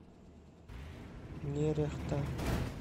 нерехта